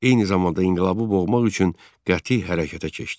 Eyni zamanda inqilabı boğmaq üçün qəti hərəkətə keçdi.